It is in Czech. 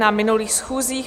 Na minulých schůzích